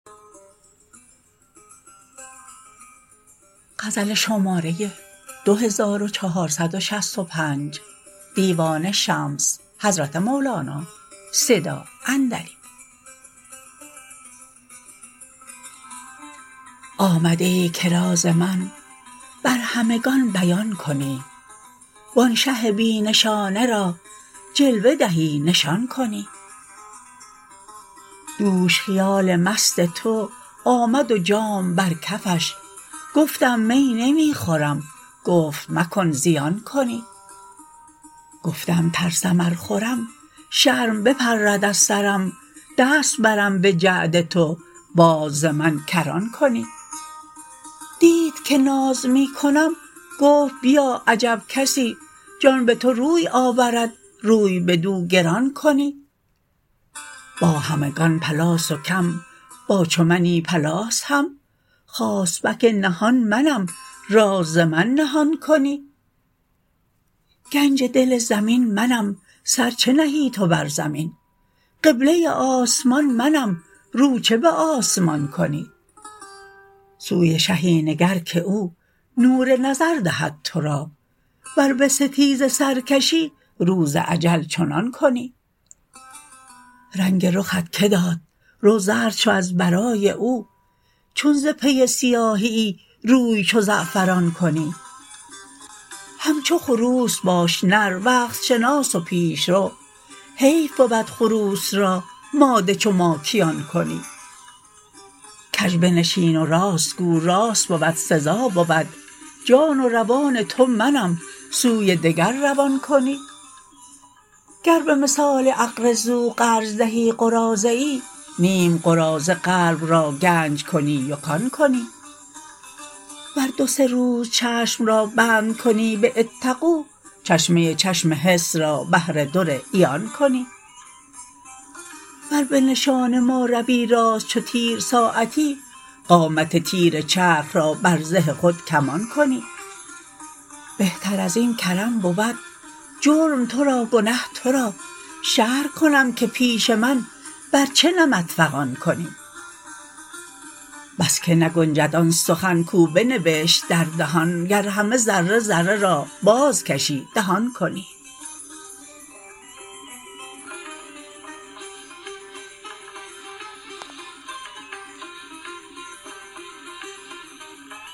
آمده ای که راز من بر همگان بیان کنی و آن شه بی نشانه را جلوه دهی نشان کنی دوش خیال مست تو آمد و جام بر کفش گفتم می نمی خورم گفت مکن زیان کنی گفتم ترسم ار خورم شرم بپرد از سرم دست برم به جعد تو باز ز من کران کنی دید که ناز می کنم گفت بیا عجب کسی جان به تو روی آورد روی بدو گران کنی با همگان پلاس و کم با چو منی پلاس هم خاصبک نهان منم راز ز من نهان کنی گنج دل زمین منم سر چه نهی تو بر زمین قبله آسمان منم رو چه به آسمان کنی سوی شهی نگر که او نور نظر دهد تو را ور به ستیزه سر کشی روز اجل چنان کنی رنگ رخت که داد رو زرد شو از برای او چون ز پی سیاهه ای روی چو زعفران کنی همچو خروس باش نر وقت شناس و پیش رو حیف بود خروس را ماده چو ماکیان کنی کژ بنشین و راست گو راست بود سزا بود جان و روان تو منم سوی دگر روان کنی گر به مثال اقرضوا قرض دهی قراضه ای نیم قراضه قلب را گنج کنی و کان کنی ور دو سه روز چشم را بند کنی به اتقوا چشمه چشم حس را بحر در عیان کنی ور به نشان ما روی راست چو تیر ساعتی قامت تیر چرخ را بر زه خود کمان کنی بهتر از این کرم بود جرم تو را گنه تو را شرح کنم که پیش من بر چه نمط فغان کنی بس که نگنجد آن سخن کو بنبشت در دهان گر همه ذره ذره را بازکشی دهان کنی